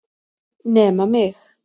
Nema mig!